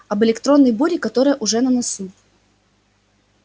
об электронной буре которая уже на носу